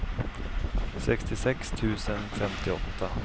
sextiosex tusen femtioåtta